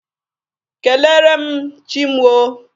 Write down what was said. Kelere m Chi mụ o.